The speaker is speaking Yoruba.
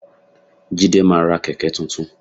Jídé máa ra kẹ̀kẹ́ tuntun.